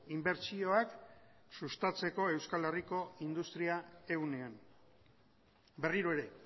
inbertsioak sustatzeko euskal herriko industria ehunean berriro ere